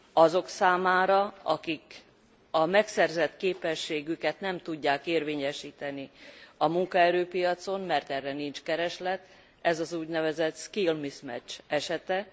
Azok számára, akik a megszerzett képességüket nem tudják érvényesíteni a munkaerőpiacon, mert erre nincs kereslet, ez az úgynevezett skill mismatch esete.